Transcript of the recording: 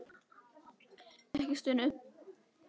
Ekki stunu.